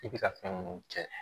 I bɛ ka fɛn minnu kɛ